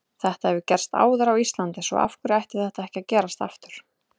Þetta hefur gerst áður á Íslandi svo af hverju ætti þetta ekki að gerast aftur?